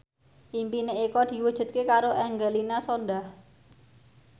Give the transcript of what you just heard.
impine Eko diwujudke karo Angelina Sondakh